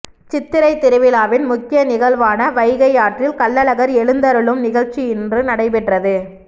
சித்திரை திருவிழாவின் முக்கிய நிகழ்வான வைகையாற்றில் கள்ளழகர் எழுந்தருளும் நிகழ்ச்சி இன்று நடைபெற்றது